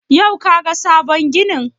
Yau ka ga sabon ginin?